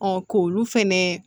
k'olu fɛnɛ